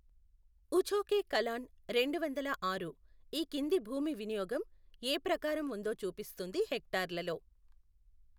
ఉఛోకే కలాన్ రెండు వందల ఆరు ఈ కింది భూమి వినియోగం ఏ ప్రకారం ఉందో చూపిస్తుంది హెక్టార్లలో.